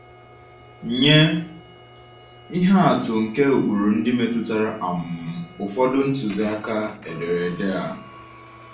Nye ihe atụ nke ụkpụrụ ndị metụtara um ụfọdụ ntụziaka ederede a.